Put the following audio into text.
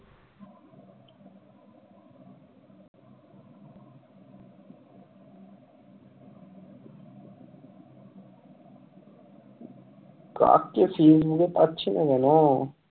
পাচ্ছি না কেন,